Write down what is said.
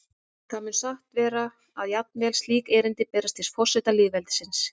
Það mun satt vera að jafnvel slík erindi berast til forseta lýðveldisins.